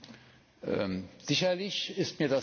Sicherlich ist mir das nicht entgangen.